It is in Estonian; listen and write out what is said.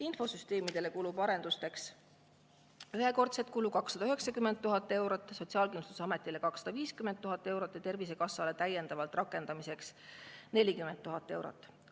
Infosüsteemide arendusteks kulub ühekordselt 290 000 eurot, Sotsiaalkindlustusametile läheb 250 000 eurot ja Tervisekassale on rakendamise jaoks täiendavalt vaja 40 000 eurot.